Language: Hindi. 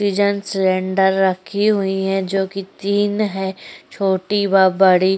सिलिंडर रखी हुई है जोकि तीन है छोटी व बड़ी।